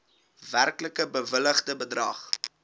werklik bewilligde bedrag